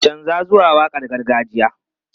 Canza zuwa waƙar gargajiya!